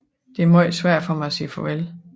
Det er meget svært for mig at sige farvel